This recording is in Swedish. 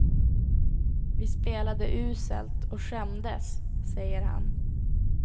Vi spelade uselt och skämdes, säger han.